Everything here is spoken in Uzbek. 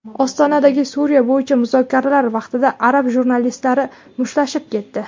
Ostonadagi Suriya bo‘yicha muzokaralar vaqtida arab jurnalistlari mushtlashib ketdi.